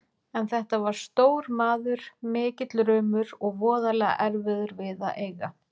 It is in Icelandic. En þetta var stór maður, mikill rumur og voðalega erfiður við að eiga.